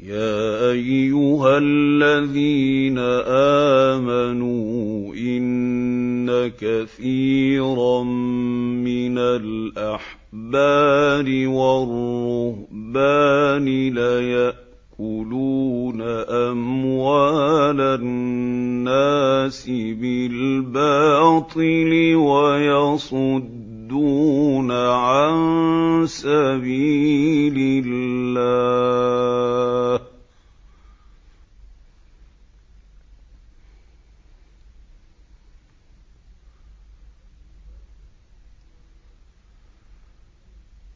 ۞ يَا أَيُّهَا الَّذِينَ آمَنُوا إِنَّ كَثِيرًا مِّنَ الْأَحْبَارِ وَالرُّهْبَانِ لَيَأْكُلُونَ أَمْوَالَ النَّاسِ بِالْبَاطِلِ وَيَصُدُّونَ عَن سَبِيلِ اللَّهِ ۗ